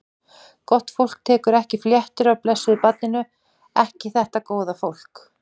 Gott fólk tekur ekki fléttur af blessuðu barninu, ekki þetta góða fólk.